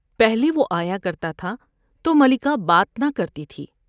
پہلے وہ آیا کرتا تھا تو ملکہ بات نہ کرتی تھی ۔